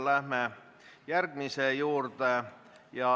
Läheme järgmise teema juurde.